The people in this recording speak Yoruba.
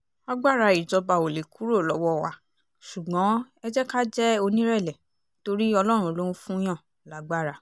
agbára ìjọba ò lè kúrò lọ́wọ́ wa ṣùgbọ́n ẹ jẹ́ ká jẹ́ onírẹ̀lẹ̀ torí ọlọ́run ló ń fún-ùnyàn lágbára